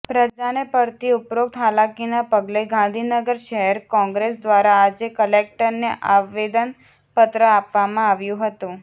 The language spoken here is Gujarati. પ્રજાને પડતી ઉપરોક્ત હાલાકીના પગલે ગાંધીનગર શહેર કોંગ્રેસ દ્વારા આજે કલેક્ટરને આવેદનપત્ર આપવામાં આવ્યુ હતું